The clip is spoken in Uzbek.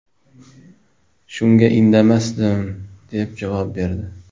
Shunga indamasdim”, deb javob berdi.